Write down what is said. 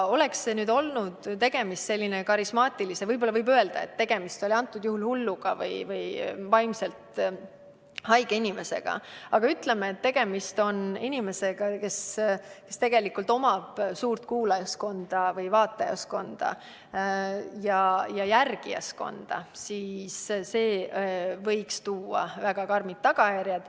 Ent kui tegemist oleks olnud karismaatilise inimesega – võib öelda, et antud juhul oli tegemist hulluga või vaimselt haige inimesega –, näiteks inimesega, kes omab suurt kuulajas- või vaatajaskonda ja järgijaskonda, siis võinuks see tuua kaasa väga karmid tagajärjed.